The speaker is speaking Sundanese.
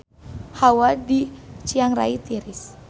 Hawa di Chiang Rai tiris